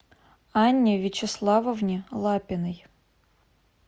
анне вячеславовне лапиной